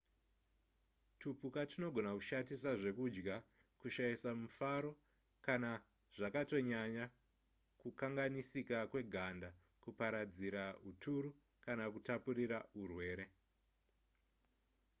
tupuka tunogona kushatisa zvekudya kushaisa mufaro kana zvakatonyanya kukanganisika kweganda kuparadzira huturu kana kutapurira hurwere